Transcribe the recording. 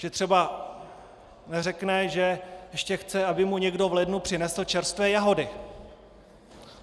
Že třeba neřekne, že ještě chce, aby mu někdo v lednu přinesl čerstvé jahody.